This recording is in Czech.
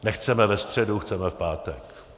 Nechceme ve středu, chceme v pátek.